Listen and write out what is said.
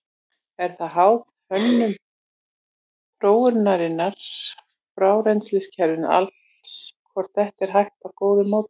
Er það háð hönnun rotþróarinnar og frárennsliskerfisins alls hvort þetta er hægt með góðu móti.